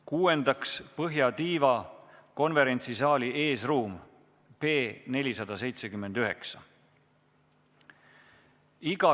Kuuendaks, põhjatiiva konverentsisaali eesruum P479.